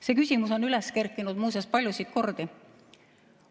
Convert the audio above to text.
See küsimus on üles kerkinud, muuseas, palju kordi.